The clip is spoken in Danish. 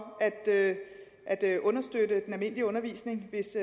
at at understøtte den almindelige undervisning hvis